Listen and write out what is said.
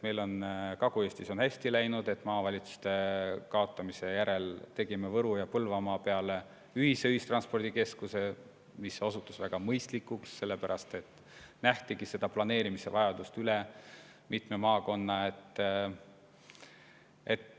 Meil on Kagu-Eestis hästi läinud, maavalitsuste kaotamise järel tegime Võru- ja Põlvamaa peale ühise ühistranspordikeskuse, mis osutus väga mõistlikuks, kuna nähtigi vajadust planeerida tegevust üle mitme maakonna.